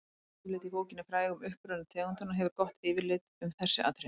efnisyfirlitið í bókinni frægu um uppruna tegundanna gefur gott yfirlit um þessi atriði